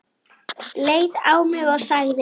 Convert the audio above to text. Leit á mig og sagði